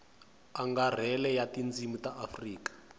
angarhela ya tindzimi ta afrika